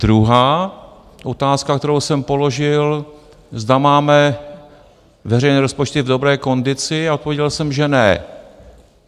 Druhá otázka, kterou jsem položil, zda máme veřejné rozpočty v dobré kondici a odpověděl jsem, že ne.